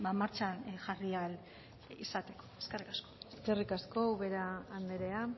martxan jarri ahal izateko eskerrik asko eskerrik asko ubera andrea